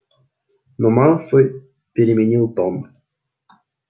но малфой переменил тон